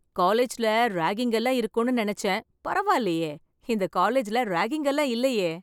காலேஜ்ல ராகிங் எல்லாம் இருக்கும்னு நெனச்சேன் பரவாயில்லையே இந்த காலேஜ்ல ராகிங் எல்லாம் இல்லையே